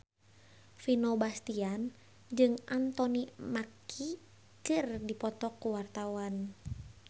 Vino Bastian jeung Anthony Mackie keur dipoto ku wartawan